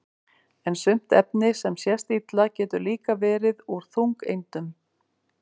en sumt efni sem sést illa getur líka verið úr þungeindum